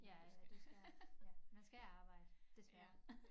Ja ja du skal ja man skal arbejde desværre